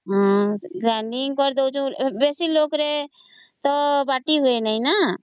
ହଁ grinding କରି ଦଉଚୁ ବେଶୀ ଲୋକ ରେ ତ ବାଟି ହୁଏନି ନ